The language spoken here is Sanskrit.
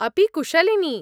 अपि कुशलिनी